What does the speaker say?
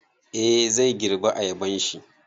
Eh, zai girbe ayabanshi